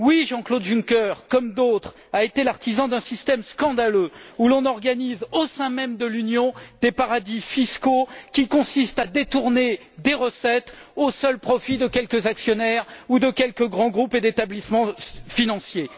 Comme d'autres, Jean Claude Juncker a effectivement été l'artisan d'un système scandaleux où l'on organise, au sein même de l'Union, des paradis fiscaux qui consistent à détourner des recettes au seul profit de quelques actionnaires ou de quelques grands groupes et établissements financiers.